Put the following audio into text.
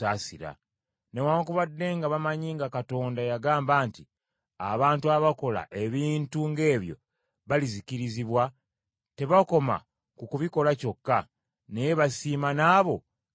Newaakubadde nga bamanyi nga Katonda yagamba nti abantu abakola ebintu ng’ebyo balizikirizibwa, tebakoma ku kubikola kyokka, naye basiima n’abo ababikola.